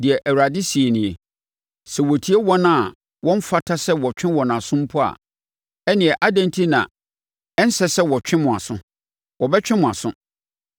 Deɛ Awurade seɛ nie: “Sɛ wɔtwe wɔn a wɔmfata sɛ wɔtwe wɔn aso mpo a, ɛnneɛ adɛn enti na ɛnsɛ sɛ wɔtwe mo aso? Wɔbɛtwe mo aso!